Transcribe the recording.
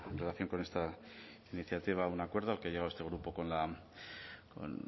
relación con esta iniciativa un acuerdo al que ha llegado este grupo con